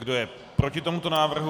Kdo je proti tomuto návrhu?